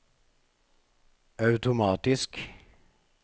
automatisk